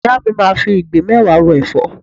Ìyá mi máa fi ìgbín mẹ́wàá ro ẹ̀fọ́.